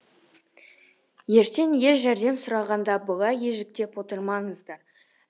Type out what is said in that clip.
ертең ел жәрдем сұрағанда былай ежіктеп отырмаңыздар